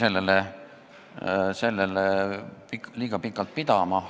Kuid ma jäin sellele liiga pikalt pidama.